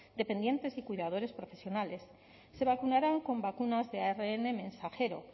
dependientes y cuidadores profesionales se vacunarán con vacunas de arn mensajero